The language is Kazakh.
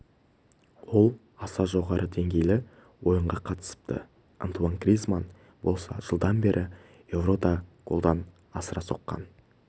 ол аса жоғары деңгейлі ойынға қатысыпты антуанн гризманн болса жылдан бері еурода голдан асыра соққан